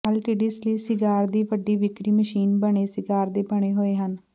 ਅਲਟਿਡਿਸ ਲਈ ਸਿਗਾਰ ਦੀ ਵੱਡੀ ਵਿਕਰੀ ਮਸ਼ੀਨ ਬਣੇ ਸਿਗਾਰ ਦੇ ਬਣੇ ਹੋਏ ਹਨ